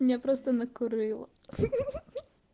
меня просто накурыло ха-ха